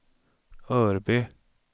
Örby